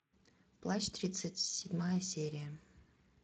плащ тридцать седьмая серия